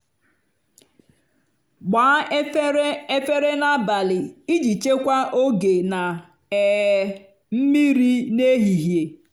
gbaa efere efere n'abalị iji chekwaa oge na um mmiri n'ehihie.